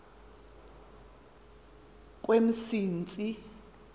kwemsintsi